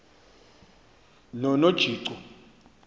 nonojico